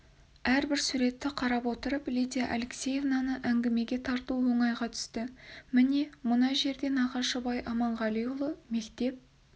әрбір суретті қарап отырып лидия алексеевнаны әңгімеге тарту оңайға түсті міне мына жерде нағашыбай аманғалиұлы мектеп